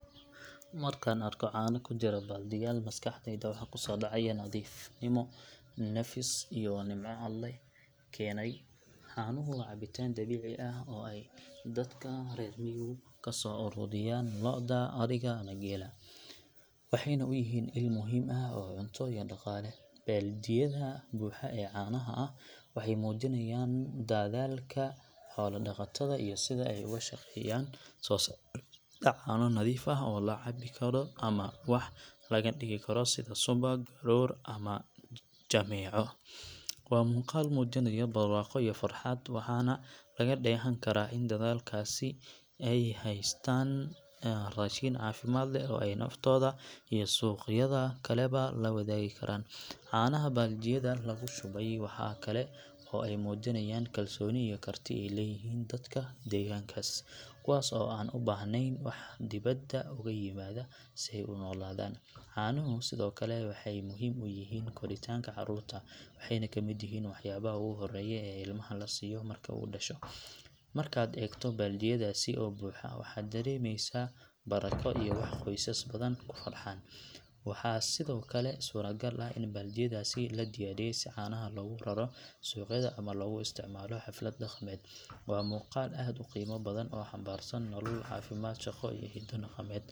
Markaan arko caano ku jira baaldiyaal maskaxdayda waxa ku soo dhacaya nadiifnimo, nafis iyo nimco Alle keenay. Caanuhu waa cabitaan dabiici ah oo ay dadka reer miyigu kasoo aruuriyaan lo’da, ariga ama geela, waxayna u yihiin il muhiim ah oo cunto iyo dhaqaale. Baaldiyada buuxa ee caanaha ah waxay muujinayaan dadaalka xoola-dhaqatada iyo sida ay uga shaqeeyaan soo saarista caano nadiif ah oo la cabbi karo ama wax laga dhigi karo sida subag, garoor ama jameeco. Waa muuqaal muujinaya barwaaqo iyo farxad, waxaana laga dheehan karaa in dadkaasi haystaan raashin caafimaad leh oo ay naftooda iyo suuqyada kaleba la wadaagi karaan. Caanaha baaldiyada lagu shubay waxa kale oo ay muujinayaan kalsooni iyo karti ay leeyihiin dadka deegaankaas, kuwaas oo aan u baahnayn wax dibadda uga yimaada si ay u noolaadaan. Caanuhu sidoo kale waxay muhiim u yihiin koritaanka carruurta, waxayna ka mid yihiin waxyaabaha ugu horreeya ee ilmaha la siiyo marka uu dhasho. Markaad eegto baaldiyadaasi oo buuxa, waxaad dareemaysaa barako iyo wax qoysas badan ku farxaan. Waxaa sidoo kale suuragal ah in baaldiyadaasi la diyaariyey si caanaha loogu raro suuqyada ama loogu isticmaalo xaflad dhaqameed. Waa muuqaal aad u qiimo badan oo xambaarsan nolol, caafimaad, shaqo iyo hiddo dhaqameed.